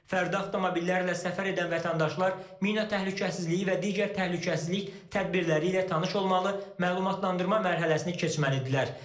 Fərdi avtomobillərlə səfər edən vətəndaşlar mina təhlükəsizliyi və digər təhlükəsizlik tədbirləri ilə tanış olmalı, məlumatlandırma mərhələsini keçməlidirlər.